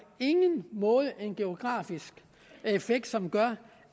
ingen måde har en geografisk effekt som gør